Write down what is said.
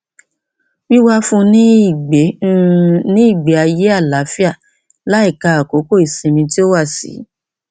wíwá fún un ní ìgbé un ní ìgbé ayé àlàáfíà láìka àkókò ìsinmi tí ó wà sí